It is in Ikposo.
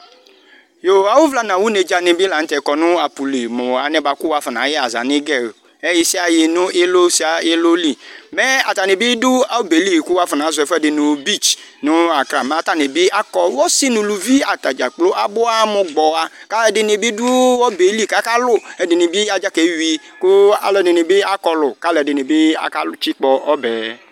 Yoo, awʋ vla nawʋ nedzǝ nɩ bɩ la nʋ tɛ kɔ nʋ apʋ li mʋ alɛnɛ kʋ wafɔnayɛ aza n' igɛ ɛyɩsɩayɩ n' ɩlʋ sɩa ɩlʋ liMɛ atanɩ bɩ dʋ ɔbɛ li kʋ wʋafɔ nazɔ ɛfʋɛdɩ nʋ bits nʋ Akra mɛ atanɩ bɩ akɔ, ɔsɩ nʋ uluvi atadza kplo abʋ aɣa mʋ gbɔwa Kalʋ ɛdɩnɩ bɩ dʋ ɔbɛ li kaka lʋ,ɛdɩnɩ bɩ adzakeyui, kalʋ ɛdɩnɩ bɩ akɔlʋ kalʋ ɛdɩnɩ bɩ akatsɩkpɔ ɔbɛ